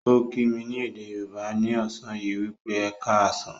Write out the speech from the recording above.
Ó kí mí ní èdè Yorùbá ni ọ̀sán yìí wípé "Ẹ ká á sàn".